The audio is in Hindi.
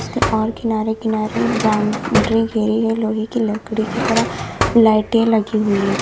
इसके और किनारे किनारे ब्राउन्ड्री घेरी गई लोहे की लकड़ी की तरह। लाइटें लगी हुई हैं।